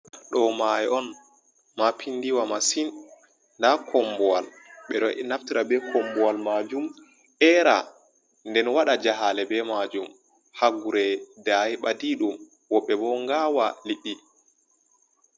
Ɗo mayo on mapindiwa masin, da kombowal ɓeɗo naftira be kombowal majum era, nden wada jahale be majum hagure dayi badiɗum, woɓɓe bo ngawa lidi.